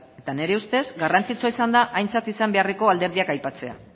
eta nire ustez garrantzitsua izan da aintzat izan beharreko alderdiak aipatzea